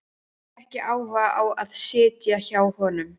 Hefur ekki áhuga á að sitja hjá honum.